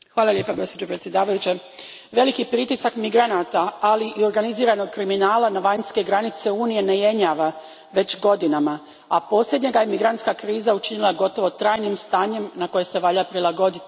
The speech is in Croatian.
Poštovana predsjednice, veliki pritisak migranata, ali i organiziranog kriminala na vanjske granice Unije ne jenjava već godinama, a posljednja ga je migrantska kriza učinila gotovo trajnim stanjem na koje se valja prilagoditi.